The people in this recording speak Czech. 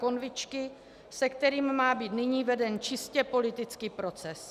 Konvičky, se kterým má být nyní veden čistě politický proces.